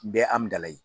Bɛɛ amnayi